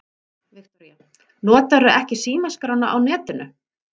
Viktoría: Notarðu ekki símaskrána á netinu?